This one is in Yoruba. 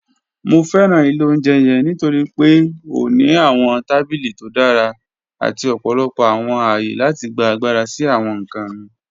Mo fẹran ilẹ̀ ọ̀unjẹ́ yẹ̀ǹ nítorí pe ó ní awọn tabílí tó dára àti ọ̀pọ̀lọpọ̀ awọn ayé láti gbà agbára sí awọn nkàn mí.